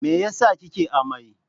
me yasa kike amai?